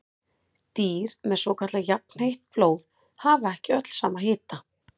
Dýr með svokallað jafnheitt blóð hafa ekki öll sama hita.